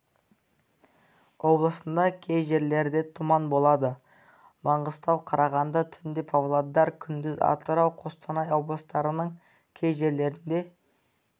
облысында кей жерлерде тұман болады маңғыстау қарағанды түнде павлодар күндіз атырау қостанай облыстарының кей жерлерінде